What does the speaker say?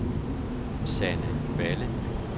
Sanne Balle